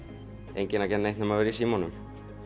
enginn að gera neitt nema vera í símanum